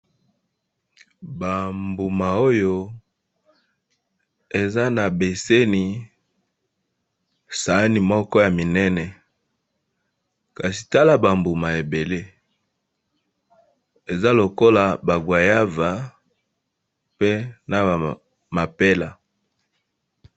Ba mbuma oyo eza na beseni sani moko ya minene kasi tala ba mbuma ebele eza lokola baguayava pe na ba mapela.